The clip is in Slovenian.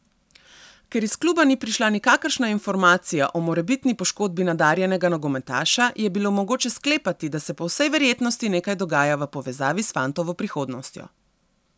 Ker iz kluba ni prišla nikakršna informacija o morebitni poškodbi nadarjenega nogometaša, je bilo mogoče sklepati, da se po vsej verjetnosti nekaj dogaja v povezavi s fantovo prihodnostjo.